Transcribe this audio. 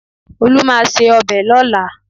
Olú máa se ọbẹ̀ lọ́la